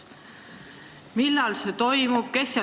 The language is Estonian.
Millal see toimub?